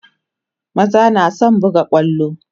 maza na da San buga kwallo